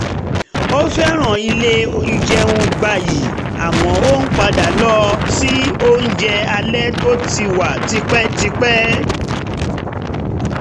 ó fẹ́ràn ilé ìjẹun gbayì àmọ́ ó ń padà lọ síbi oúnjẹ alẹ́ tó ti wà tipẹ́tipẹ́